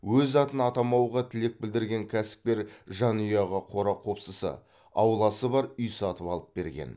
өз атын атамауға тілек білдірген кәсіпкер жанұяға қора қопсысы ауласы бар үй сатып алып берген